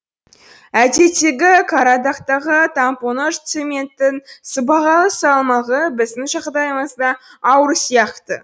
әдеттегі қарадагтағы тампоныж цементтің сыбағалы салмағы біздің жағдайымызда ауыр сияқты